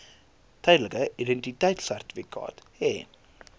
tydelike identiteitsertifikaat hê